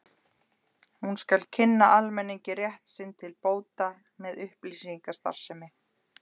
Hún skal kynna almenningi rétt sinn til bóta með upplýsingastarfsemi.